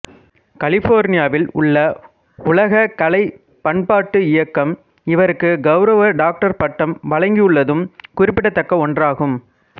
கலிஃபோர்னியாவில் உள்ள உலகக் கலை பண்பாட்டு இயக்கம் இவருக்குக் கௌரவ டாக்டர் பட்டம் வழங்கியுள்ளதும் குறிப்பிடத்தக்க ஒன்றாகும்